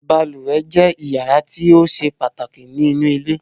Balùwẹ̀ jẹ́ yàrá tí ó ṣe pàtàkì nínú ilé